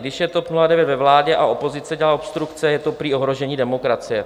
Když je TOP 09 ve vládě a opozice dělá obstrukce, je to prý ohrožení demokracie.